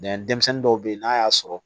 denmisɛnnin dɔw bɛ yen n'a y'a sɔrɔ